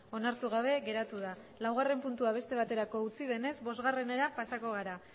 onartu gabe geratu da laugarren puntua beste baterako utzi denez bosgarrenera pasako gara